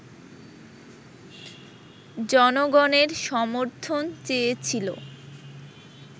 জনগণের সমর্থন চেয়েছিল